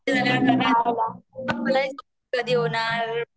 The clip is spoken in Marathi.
Unclear कधी होणार